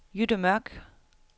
Jytte Mørch